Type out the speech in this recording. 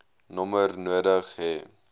nommer nodig hê